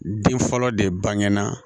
Den fɔlɔ de bangena